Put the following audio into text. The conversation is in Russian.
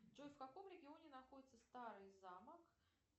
джой в каком регионе находится старый замок